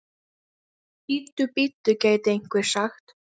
Bíddu, bíddu, gæti einhver sagt.